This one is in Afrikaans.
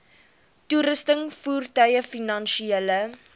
toerusting voertuie finansiële